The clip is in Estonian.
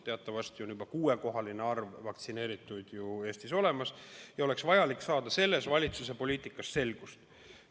Teatavasti on meil juba kuuekohaline arv vaktsineerituid Eestis olemas ja oleks vaja selles valitsuse poliitikas selgust saada.